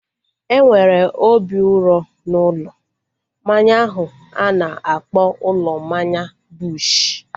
Enwere obi uro n'ụlọ mmanya ahu a na-akpọ ụlọ mmanya Bush